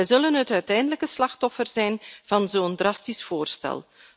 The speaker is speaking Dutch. Ze zullen het uiteindelijke slachtoffer zijn van zo'n drastisch voorstel.